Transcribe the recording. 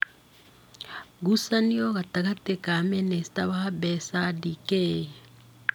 Ngucanio gatagatĩ ka mĩnĩsta wa mbeca, Dk.